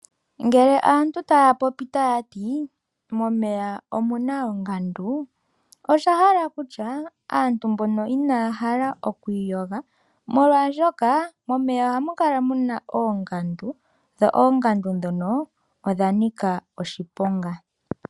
Ngela aantu taya popi tayati momeya omuna ongandu, osha hala okutya aantu mbono inaya hala oku iyoga molwashoka momeya ohamu kala muna oongandu, dho oongandu dhono odha nika oshiponga.